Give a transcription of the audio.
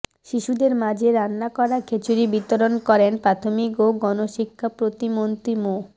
শিশুদের মাঝে রান্না করা খিচুরি বিতরণ করেন প্রাথমিক ও গণশিক্ষাপ্রতিমন্ত্রী মো